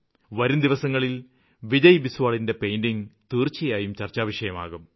വരും ദിവസങ്ങളില് വിജയ് ബിസ്വാലിന്റെ പെയിന്റിംഗ് തീര്ച്ചയായും ചര്ച്ചാവിഷയമാകും